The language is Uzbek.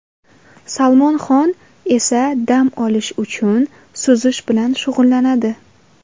Salmon Xon esa dam olish uchun suzish bilan shug‘ullanadi.